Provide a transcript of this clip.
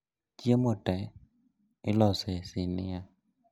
Chiemo tee iloso e sinia